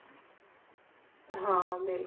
ਹਾਂ ਬਿਲਕੁਲ